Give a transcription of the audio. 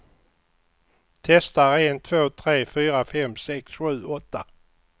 Testar en två tre fyra fem sex sju åtta.